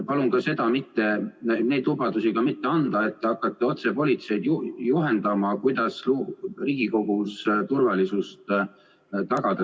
Palun niisuguseid lubadusi mitte anda, et te hakkate otse politseid juhendama, kuidas Riigikogus turvalisust tagada!